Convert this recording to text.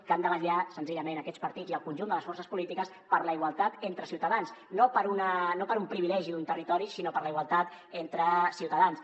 que han de vetllar senzillament aquests partits i el conjunt de les forces polítiques per la igual·tat entre ciutadans no per un privilegi d’un territori sinó per la igualtat entre ciuta·dans